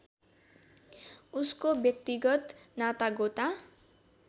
उसको व्यक्तिगत नातागोता